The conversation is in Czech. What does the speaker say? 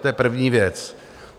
To je první věc.